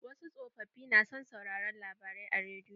Wasu tsofofi na son sauraren labarai a rediyo.